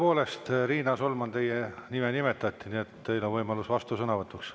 Tõepoolest, Riina Solman, teie nime nimetati, nii et teil on võimalus vastusõnavõtuks.